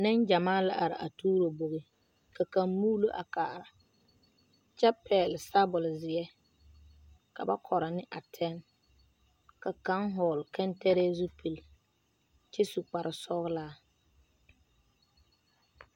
Neŋgyamaa la are a tuuro bogi ka kaŋa muuli a kaara kyɛ pɛgele sabɔle zeɛ ka ba koro ne a tɛnne ka kaŋ vɔgele kantɛrɛɛ zupile kyɛ su kparre sɔgelaa